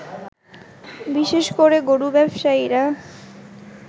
বিশেষ করে গরু ব্যবসায়ীরা